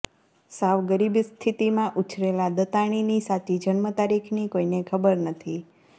સાવ ગરીબ સ્થિતિમાં ઉછરેલા દત્તાણીની સાચી જન્મ તારીખની કોઈને ખબર નથી